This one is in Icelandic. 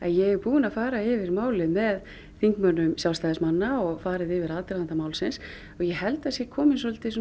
ég er búin að fara yfir málin með þingmönnum Sjálfstæðismanna og farið yfir aðdraganda málsins og ég held að það sé kominn